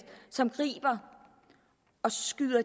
som griber